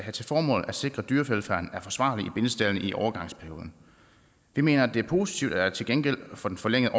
til formål at sikre at dyrevelfærden er forsvarlig i bindestaldene i overgangsperioden det mener vi er positivt at til gengæld for den forlængede